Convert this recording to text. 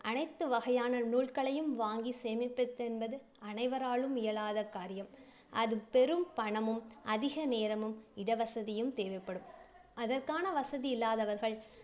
அனைத்து வகையான நூல்களையும் வாங்கி சேமிப்பதென்பது அனைவராலும் இயலாத காரியம். அது பெரும் பணமும், அதிக நேரமும், இடவசதியும் தேவைப்படும். அதற்கான வசதி இல்லாதவர்கள்